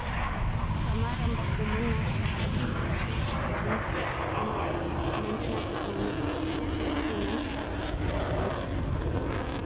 ಸಮಾರಂಭಕ್ಕೂ ಮುನ್ನ ಶಹಾಜಿ ರಜೆ ಬೌಂಸ್ಲೆ ಸಮಾಧಿಗೆ ಮಂಜುನಾಥ ಸ್ವಾಮೀಜಿ ಪೂಜೆ ಸಲ್ಲಿಸಿ ನಂತರ ವೇದಿಕೆಗೆ ಆಗಮಿಸಿದರು